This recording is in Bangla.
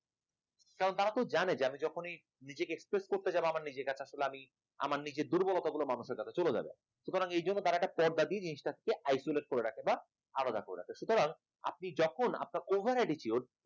কারণ তারা তো জানে আমি যখনই নিজেকে expose করতে যাব আমার নিজের কাছে আসলে আমি আমার নিজের দুর্বলতা গুলো মানুষের কাছে চলে যাবে সুতরাং এই জন্য তারা পর্দা দিয়ে জিনিসটাকে isolated করে রাখে বা আলাদা করে রাখে সুতরাং আপনি যখন আপনার over attitude